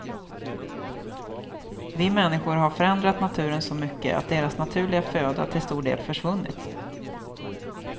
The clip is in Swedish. Vi människor har förändrat naturen så mycket att deras naturliga föda till stor del försvunnit.